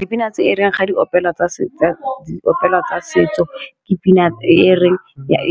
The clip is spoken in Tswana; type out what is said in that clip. Dipina tse e reng ga di opelwa ka setso di opela tsa setso ke pina e reng